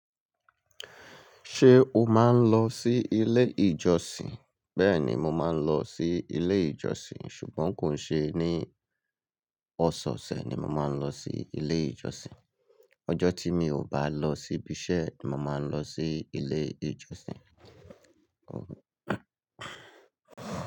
Ṣé o máa ń lọ sí ilé ìjọsìn? Bẹ́ẹ̀ni, mo máa ń lọ sí ilé ìjọsìn ṣùgbọ́n kò ṣe ní ọ̀sọ̀ọ̀ṣẹ̀ ni mo máa ń lọ sí ilé ìjọsìn. Ọjọ́ tí mi ò bá lọ sí ibi iṣẹ́, mo máa ń lọ sí ilé ìjọsìn. Ọ.